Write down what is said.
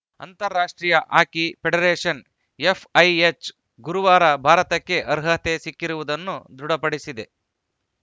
ಅಂತಾರಾಷ್ಟ್ರೀಯ hockey federation FIH ಗುರುವಾರ ಭಾರತಕ್ಕೆ ಅರ್ಹತೆ ಸಿಕ್ಕಿರುವುದನ್ನು ದೃಢಪಡಿಸಿದೆ